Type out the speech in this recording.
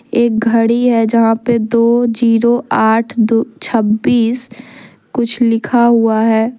एक घड़ी है जहां पे दो जीरो आठ दो छब्बीस कुछ लिखा हुआ है।